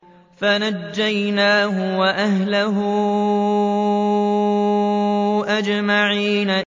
فَنَجَّيْنَاهُ وَأَهْلَهُ أَجْمَعِينَ